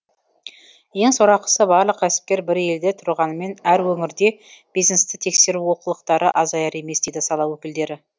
ең сорақысы барлық кәсіпкер бір елде тұрғанымен әр өңірде бизнесті тексеру олқылықтары азаяр емес дейді сала өкілдері